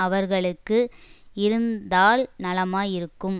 அவர்களுக்கு இருந்தால் நலமாயிருக்கும்